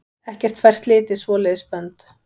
Ekkert fær slitið svoleiðis bönd.